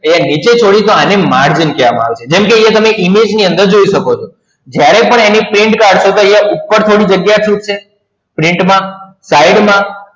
આયા નીચે છોડી એને margin કહેવાય છે જેમકે તમે image ની અંદર જોય સકો છો જ્યારે પણ આની print નિકાડસો ત્યારે ઉપર જાગીયા છૂટસે print માં side માં